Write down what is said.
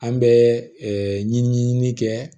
An bɛ ɲiniɲinin kɛ